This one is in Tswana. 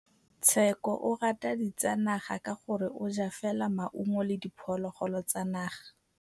Tshekô o rata ditsanaga ka gore o ja fela maungo le diphologolo tsa naga.